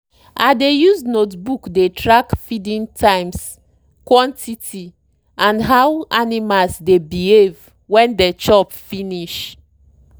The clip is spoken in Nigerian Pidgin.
i dey use notebook dey track feeding times quantity and how animals dey behave when dey chop finish.